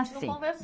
Ah, sim.